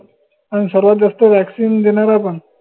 अन सर्वात जास्त vaccine देनारा पन